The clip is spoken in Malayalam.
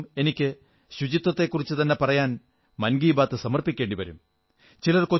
എല്ലാ ദിവസവും എനിക്ക് ശുചിത്വത്തെക്കുറിച്ചുതന്നെ പറയാൻ മൻ കീ ബാത് സമർപ്പിക്കേണ്ടി വരും